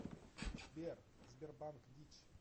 сбер сбербанк дичь